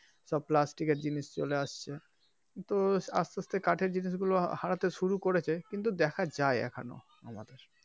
সব plastic এর জিনিস চলে আসছে তো আসতে আসতে কাঠের জিনিস গুলো হারাতে শুরু করেছে কিন্তু দেখা যায় এখনও,